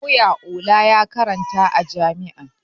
Lauya Ola ya karanta a jami'a